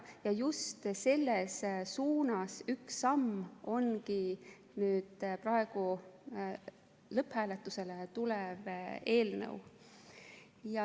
Ja just selles suunas üks samm ongi nüüd praegu lõpphääletusele tulev eelnõu.